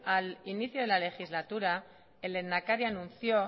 al inicio de la legislatura el lehendakari anunció